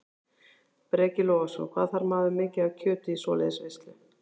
Breki Logason: Hvað þarf maður mikið af kjöti í svoleiðis veislu?